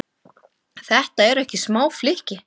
Þetta eru ekki smá flykki?